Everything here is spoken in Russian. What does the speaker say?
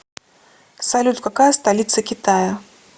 салют какая столица китая